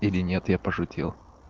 или нет я пошутил